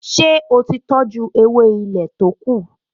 Ṣé ó ti tọjú ewé ilé to kù?